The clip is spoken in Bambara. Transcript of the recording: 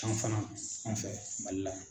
an fana anw fɛ Mali la